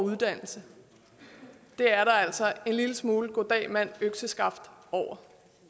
uddannelse det er der altså en lille smule goddag mand økseskaft over